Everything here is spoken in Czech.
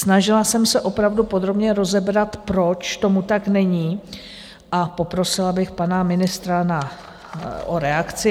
Snažila jsem se opravdu podrobně rozebrat, proč tomu tak není, a poprosila bych pana ministra o reakci.